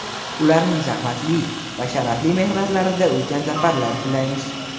ularning zahmatli va sharafli mehnatlarida ulkan zafarlar tilaymiz.